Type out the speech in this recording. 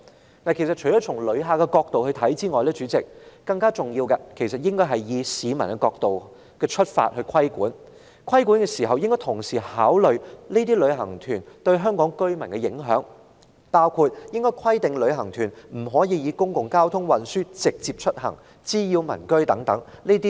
代理主席，除了從旅客角度看事件外，我們更應以市民的角度出發進行規管，並應考慮旅行團對香港居民的影響，包括規定旅行團不得乘搭公共交通運輸或滋擾民居等。